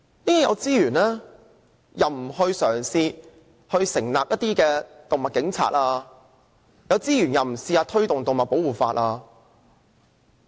政府有資源又不嘗試成立"動物警察"，亦不嘗試推動"動物保護法"。